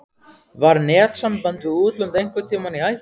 Var netsamband við útlönd einhvern tímann í hættu?